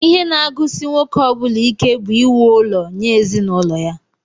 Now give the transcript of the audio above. Ihe naagụsị nwoke ọbula ike bú íwú ụlọ nye ezinụlọ ya.